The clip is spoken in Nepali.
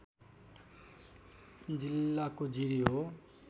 जिल्लाको जिरी हो